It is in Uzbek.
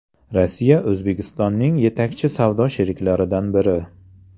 Rossiya O‘zbekistonning yetakchi savdo sheriklaridan biri.